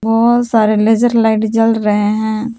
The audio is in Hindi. बहुत सारे लेजर लाइट जल रहे हैं।